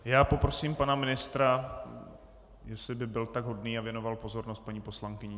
Já poprosím pana ministra, jestli by byl tak hodný a věnoval pozornost paní poslankyni.